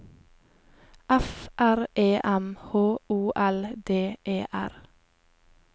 F R E M H O L D E R